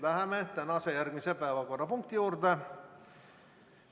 Läheme tänase järgmise päevakorrapunkti juurde.